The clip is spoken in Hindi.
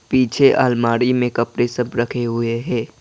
पीछे अलमारी में कपड़े सब रखे हुए है।